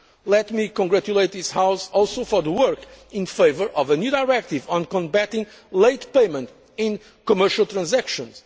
economy. Let me also congratulate this House for the work in favour of a new directive on combating late payment in commercial transactions.